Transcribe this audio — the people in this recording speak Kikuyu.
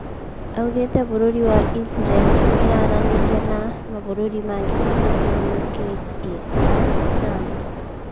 Augĩte bũrũri wa Israel niraranĩria "na mabũrũri mangĩ mamuthirokĩtie(Trump)